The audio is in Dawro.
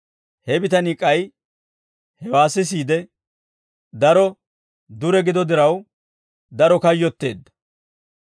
He bitanii k'ay hewaa sisiide daro dure gido diraw daro kayyotteedda.